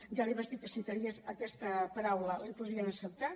ja li vaig dir que si tragués aquesta paraula l’hi podríem acceptar